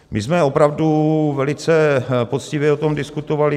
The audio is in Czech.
My jsme opravdu velice poctivě o tom diskutovali.